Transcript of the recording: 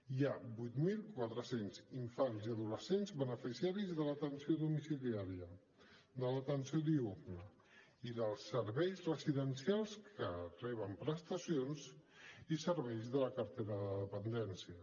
hi ha vuit mil quatre cents infants i adolescents beneficiaris de l’atenció domiciliària de l’atenció diürna i dels serveis residencials que reben prestacions i serveis de la cartera de dependència